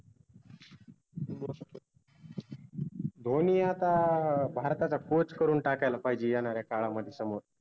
धोनी आता भारताचा Coach करून टाकायला पाहिजे येनाऱ्या काळामध्ये समोर